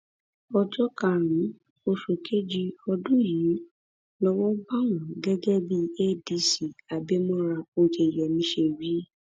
ọjọ karùnún oṣù kejì ọdún yìí lowó bá wọn gẹgẹ bí adc abimora oyeyèmí ṣe wí